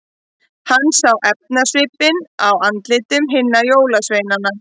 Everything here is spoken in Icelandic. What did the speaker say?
Hann sá efasvipinn á andlitum hinna jólasveinana.